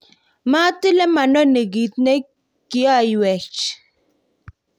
matile manoni kiit ne kiyoiwech